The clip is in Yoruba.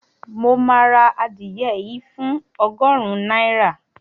Mo máa ra adìẹ yìí fún ogórun náírà